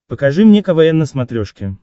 покажи мне квн на смотрешке